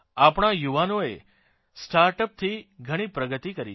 આપણા યુવાઓએ સ્ટાર્ટઅપથી ઘણી પ્રગતિ કરી છે